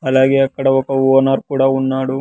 అలాగే అక్కడ ఒక ఓనర్ కూడా ఉన్నాడు.